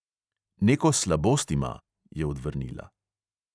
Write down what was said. "Neko slabost ima," je odvrnila.